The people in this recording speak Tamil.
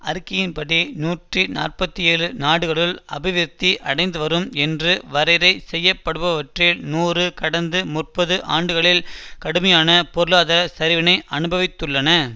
அறிக்கையின்படி நூற்றி நாற்பத்தி ஏழு நாடுகளுள் அபிவிருத்தி அடைந்துவரும் என்று வரைறை செய்யப்படுபவற்றில் நூறு கடந்த முப்பது ஆண்டுகளில் கடுமையான பொருளாத சரிவினை அனுபவித்துள்ளன